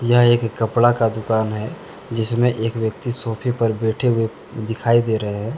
यह एक कपड़ा का दुकान है। जिसमें एक व्यक्ति सोफे पर बैठे हुए दिखाई दे रहे हैं।